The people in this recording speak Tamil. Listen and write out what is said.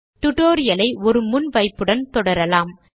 டுடோரியல் ஐ ஒரு முன் வைப்புடன் தொடரலாம்